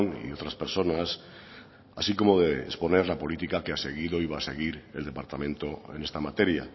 y otras personas así como de exponer la política que ha seguido y va a seguir el departamento en esta materia